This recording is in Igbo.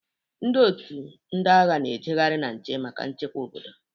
Ndị otu ndị agha na-ejeghari na nche maka nchekwa obodo.